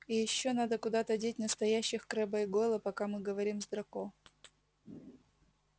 и ещё надо куда-то деть настоящих крэбба и гойла пока мы говорим с драко